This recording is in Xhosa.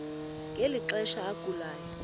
ngeli xesha agulayo